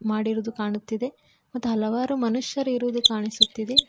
ಮಾಡಿರೋದು ಕಾಣುತ್ತಿದೆ ಮತ್ ಹಲವಾರು ಮನುಷ್ಯರು ಇರೋದು ಕಾಣಿಸುತ್ತಿದೆ.